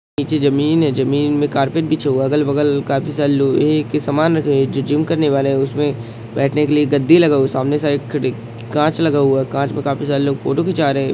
निचे जमीन है जमीन के काफी सारे--